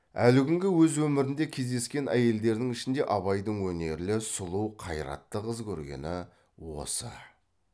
әлі күнге өз өмірінде кездескен әйелдердің ішінде абайдың өнерлі сұлу қайратты қыз көргені осы